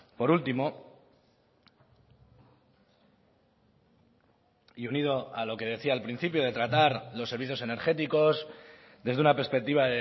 por último y unido a lo que decía al principio de tratar los servicios energéticos desde una perspectiva